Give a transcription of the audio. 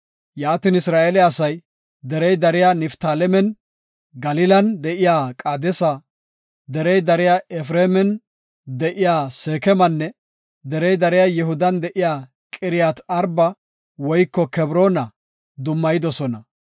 Yaatin Isra7eele asay derey dariya Niftaalemen Galilan de7iya Qaadesa, derey dariya Efreeman de7iya Seekemanne derey dariya Yihudan de7iya Qiriyaat-Arba woyko Kebroona dummayidosona.